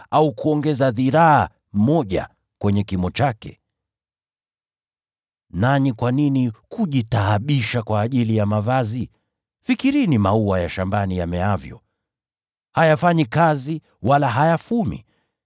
“Nanyi kwa nini mnajitaabisha kwa ajili ya mavazi? Fikirini maua ya shambani yameavyo. Hayafanyi kazi wala hayafumi.